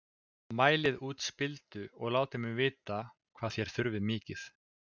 Mælið út spildu og látið mig vita hvað þér þurfið mikið.